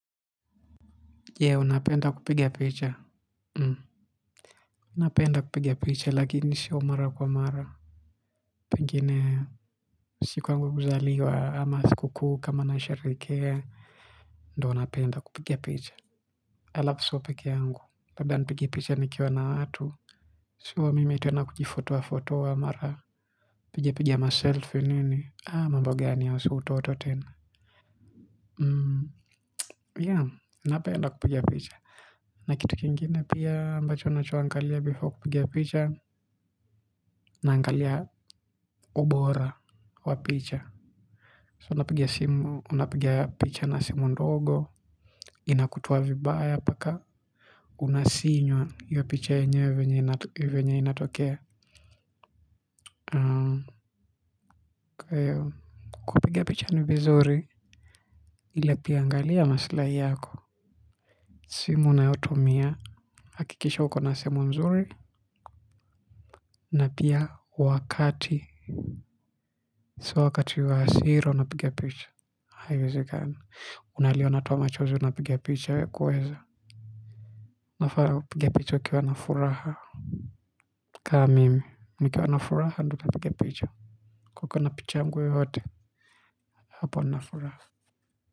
Yeah, unapenda kupigia picha. Napenda kupigia picha lakini si sio mara kwa mara. Pengine, siku yangu ya kuzaliwa, ama sikukuu, kama na sharehekea. Do napenda kupigia picha. Alafu sio pekeangu. Labda nipige picha nikiwa na watu. Sio, mimi tena kujifotoa fotoa mara. Piga piga maselfi nini. Ah, mambo gani hayo si utoto tena. Yeah, napenda kupigia picha. Na kitu kingine pia ambacho nachoangalia before kupigia picha naangalia ubora wa picha So napiga simu unapigia picha na simu ndogo. Inakutoa vibaya mpaka inywa hio picha yenyewe venye inatokea kwa hio kupiga picha ni vizuri ila pia angalia maslai yako, simu unayotumia hakikisha ukona simu nzuri na pia wakati sio wakati wa hasira unapiga picha haiwezekani unalia unatoa machozi unapiga picha we kweza unafaa kupiga picha ukiwa na furaka ka mimi nikiwa na furaha ndio napiga picha ka ukona picha yangu yoyote hapo nafuraja.